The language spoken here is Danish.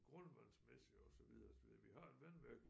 Grundvandsmæssigt og så videre og så videre vi har et vandværk